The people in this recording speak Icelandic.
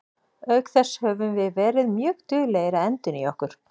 Auk þess höfum við verið mjög duglegir að endurnýja okkur.